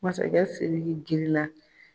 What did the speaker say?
Masakɛ Siriki girinna